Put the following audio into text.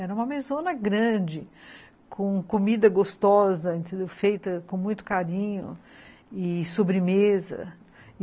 Era uma mesona grande, com comida gostosa, feita com muito carinho, e sobremesa.